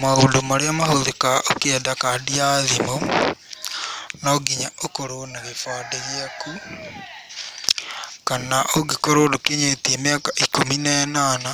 Maundũ marĩa mahũthĩkaga ũkĩenda kandi ya thimũ; no nginya ũkorwo na gĩbandĩ gĩaku, kana ũngĩkorwo ndũkinyĩtie mĩaka ikũmi na ĩnana,